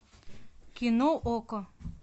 кино окко